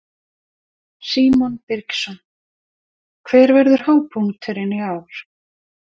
Símon Birgisson: Hver verður hápunkturinn í ár?